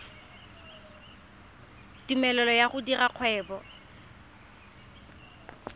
tumelelo ya go dira kgwebo